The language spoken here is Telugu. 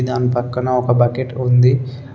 దాని పక్కన ఒక బకెట్ ఉంది.